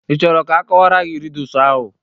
Ị chọrọ ka akọwara gị rịdus ahụ?